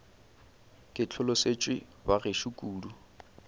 ke hlolosetšwe ba gešo kudu